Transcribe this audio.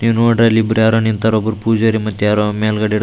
ಈ ರೋಯಾದಲ್ಲಿ ಬರಿ ಯಾರೋ ನಿಂತರೆ ಒಬ್ಬರ್ ಪೂಜಾರಿ ಮತ್ತ ಯಾರೊ ಮೇಲ್ಗಡೆಯೇವ್ರ್ --